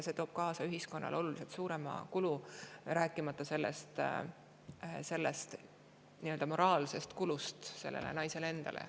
See toob kaasa oluliselt suurema kulu, rääkimata nii-öelda moraalsest sellele naisele endale.